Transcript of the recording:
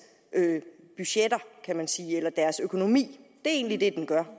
budgetter kan man sige eller deres økonomi det egentlig det den gør